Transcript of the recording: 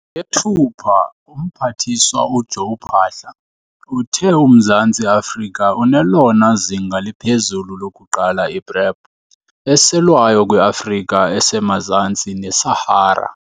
eyeThupha, uMphathiswa uJoe Phaahla uthe uMzantsi Afrika unelona zinga liphezulu lokuqala i-PrEP eselwayo kwiAfrika esemazantsi neSahara.